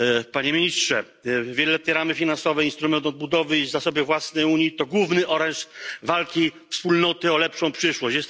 Panie Ministrze! Wieloletnie ramy finansowe, instrument odbudowy i zasoby własne Unii to główny oręż walki wspólnoty o lepszą przyszłość.